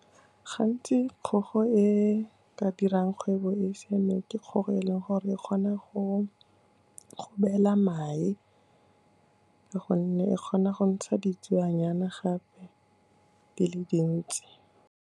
Gantsi kgogo e ka dirang kgwebo e siameng ke kgogo e leng gore e kgona go beela mae, ka gonne e kgona go ntsha ditsuenyana gape di le dintsi.